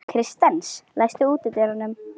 Kristens, læstu útidyrunum.